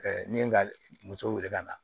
ni ye n ka muso wele ka na